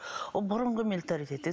ол бұрынғы менталитет еді